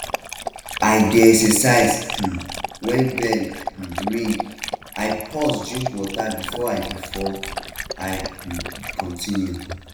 i dey exercise um when bell um ring i pause drink water before i before i um continue